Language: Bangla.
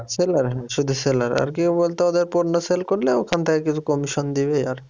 seller হ্যাঁ শুধু seller আরকি বলতো ওদের পণ্য sell করলে ওখান থেকে কিছু commission দিবে